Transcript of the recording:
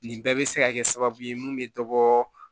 Nin bɛɛ bɛ se ka kɛ sababu ye mun bɛ dɔ bɔ